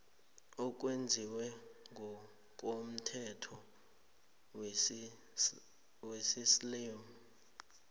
owenziwe ngokomthetho wesiislamu